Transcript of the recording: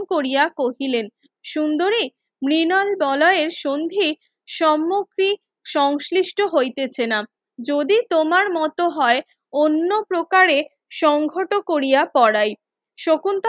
Korea কহিলেন সুন্দরী মৃনাল বলয়ের সন্ধি সম্মুক্তি সংশ্লিষ্ট হইতেছেনা যদি তোমার মতো হয় অন্য প্রকারে সংহত কোরিয়া পড়াই শকুন্তলা